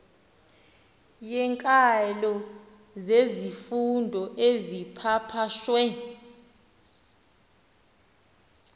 yeenkalo zezifundo ezipapashwe